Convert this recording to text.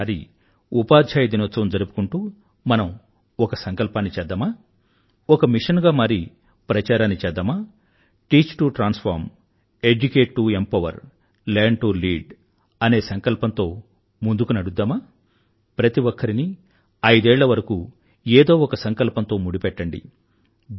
ఈసారి ఉపాధ్యాయ దినోత్సవం జరుపుకుంటూ మనం ఒక సంకల్పాన్ని చేద్దామా ఒక మిషన్ గా మారి ఒక ప్రచారాన్ని చేద్దామా teach to transform educate to empower learn to lead అనే సంకల్పం తో ముందుకు నడుద్దామా ప్రతి ఒక్కరినీ ఐదేళ్ల వరకూ ఏదో ఒక సంకల్పంతో ముడిపెట్టండి